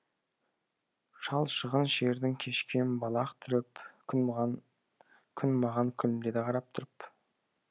шалшығын шердің кешкем балақ түріп күн маған күлімдеді қарап тұрып